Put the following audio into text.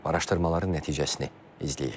Araşdırmaların nəticəsini izləyək.